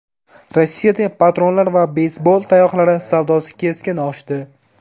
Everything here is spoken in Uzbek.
Rossiyada patronlar va beysbol tayoqlari savdosi keskin oshdi.